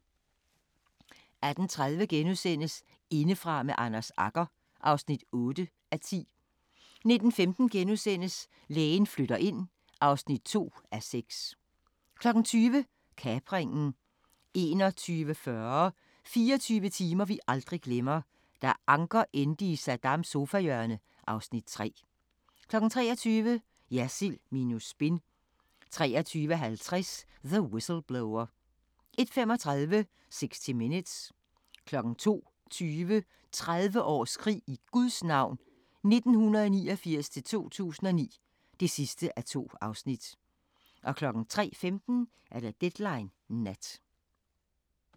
18:30: Indefra med Anders Agger (8:10)* 19:15: Lægen flytter ind (2:6)* 20:00: Kapringen 21:40: 24 timer vi aldrig glemmer: Da Anker endte i Saddams sofahjørne (Afs. 3) 23:00: Jersild minus spin 23:50: The Whistleblower 01:35: 60 Minutes 02:20: 30 års krig i Guds navn 1989-2009 (2:2) 03:15: Deadline Nat